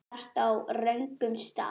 Þú ert á röngum stað